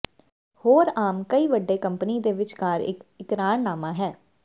ਹੋਰ ਆਮ ਕਈ ਵੱਡੇ ਕੰਪਨੀ ਦੇ ਵਿਚਕਾਰ ਇੱਕ ਇਕਰਾਰਨਾਮਾ ਹੈ